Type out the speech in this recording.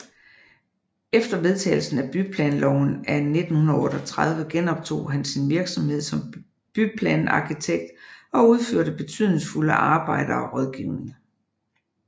Efter vedtagelsen af Byplanloven af 1938 genoptog han sin virksomhed som byplanarkitekt og udførte betydningsfulde arbejder og rådgivning